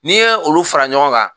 N'i ye olu fara ɲɔgɔn kan